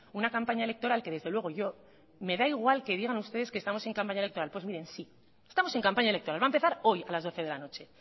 una campaña electoral que desde luego a mí me da igual que digan ustedes en campaña electoral pues miren sí estamos en campaña electoral va a empezar hoy a las doce de la noche